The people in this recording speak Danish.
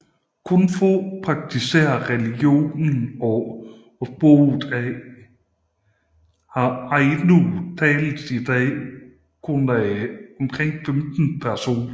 Kun få praktiserer religionen og sproget ainu tales i dag kun af omkring 15 personer